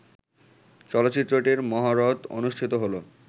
চলচ্চিত্রটির মহরত অনুষ্ঠিত হলো